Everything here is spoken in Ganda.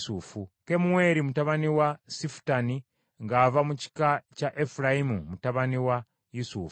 Kemueri mutabani wa Sifutani ng’ava mu kika kya Efulayimu mutabani wa Yusufu.